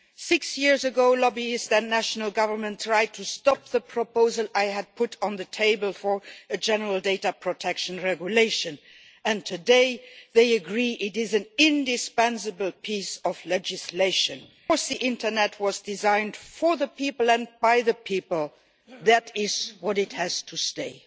Six years ago, lobbyists and national governments tried to stop the proposal I had put on the table for a general data protection regulation, and today they agree it is an indispensable piece of legislation the internet was designed for the people by the people, and that is what it has to stay.